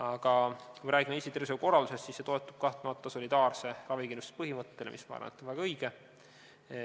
Aga kui me räägime Eesti tervishoiukorraldusest, siis see toetub kahtlemata solidaarse ravikindlustuse põhimõttele, mis on minu arvates väga õige.